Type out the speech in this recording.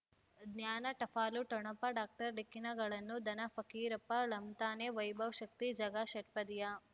ಜ್ಞಾನ ಟಪಾಲು ಠೊಣಪ ಡಾಕ್ಟರ್ ಢಿಕ್ಕಿ ಣಗಳನು ಧನ ಫಕೀರಪ್ಪ ಳಂತಾನೆ ವೈಭವ್ ಶಕ್ತಿ ಝಗಾ ಷಟ್ಪದಿಯ